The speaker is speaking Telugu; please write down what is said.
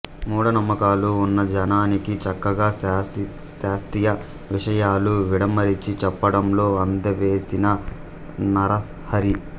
మూఢనమ్మకాలు వున్న జనానికి చక్కగా శాస్తీయ విషయాలు విడమరచి చెప్పడంలో అందెవేసిన నరహరి